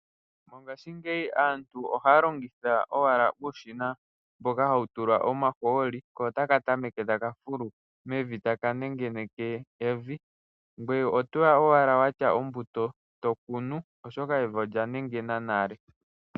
Mongashingeyi aantu ohaya longitha uushina mboka hawu tulwa omahooli ko taka tameke taka fulu mevi taka nengeneke evi ngoye otoya owala watya ombuto tokunu oshoka evi olya nengena nale.